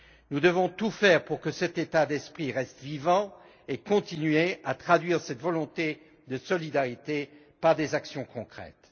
Nous devons tout faire pour que cet état d'esprit reste vivant et continuer à traduire cette volonté de solidarité par des actions concrètes.